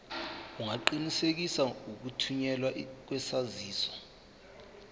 ungaqinisekisa ukuthunyelwa kwesaziso